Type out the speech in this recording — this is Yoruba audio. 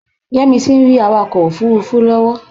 Yẹ́misí ń rí awakọ̀ òfuurufú lọ́wọ́